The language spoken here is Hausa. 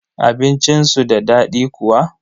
Abincin su da daɗi kuwa?